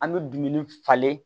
An bɛ dumuni falen